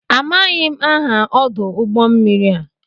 Amaghị m aha ọdụ ụgbọ mmiri a.